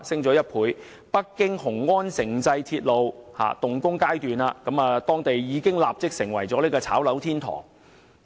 儘管北京雄安城際鐵路尚在動工階段，但當地已經變成"炒樓天堂"。